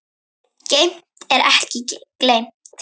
Geymt er ekki gleymt